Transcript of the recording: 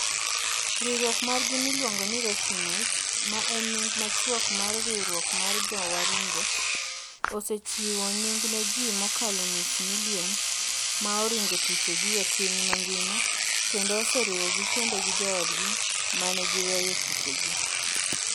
Riwruok margi miluongo ni REFUNITE, ma en nying machuok mar Riwruok mar Jowaringo, osechiwo nying' ne ji mokalo nus milion ma oringo thuchegi e piny mangima, kendo oseriwogi kendo gi joodgi ma ne giweyo thurgi.